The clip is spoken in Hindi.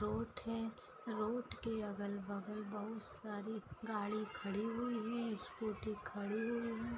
रोड है रोड के अगल बगल बहुत सारी गाड़ी खड़ी हुई है स्कूटी खड़ी हुई है